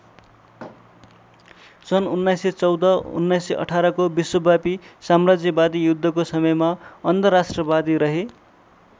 सन् १९१४ १९१८ को विश्वव्यापी साम्राज्यवादी युद्धको समयमा अन्धराष्ट्रवादी रहे।